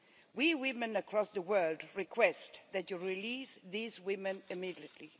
We women across the world request that you release these women immediately.